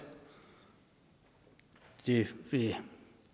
det vil